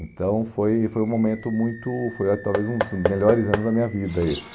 Então, foi foi um momento muito... Foi, ah talvez, um dos melhores anos da minha vida, esse.